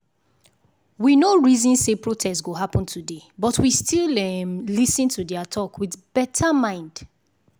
we no reason say protest go happen today but we still um lis ten to their talk with better mind.